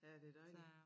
Ja det dejligt